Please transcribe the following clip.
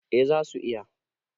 eh za su iya